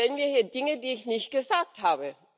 Sie unterstellen mir hier Dinge, die ich nicht gesagt habe.